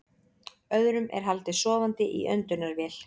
Öðrum er haldið sofandi í öndunarvél